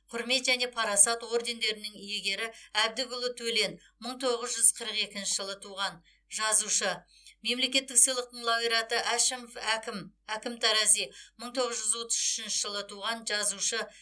құрмет және парасат ордендерінің иегері әбдікұлы төлен мың тоғыз жүз қырық екінші жылы туған жазушы мемлекеттік сыйлықтың лауреаты әшімов әкім әкім тарази мың тоғыз жүз отыз үшінші жылы туған жазушы